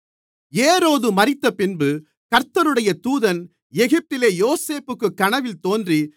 ஏரோது மரித்தபின்பு கர்த்தருடைய தூதன் எகிப்திலே யோசேப்புக்குக் கனவில் தோன்றி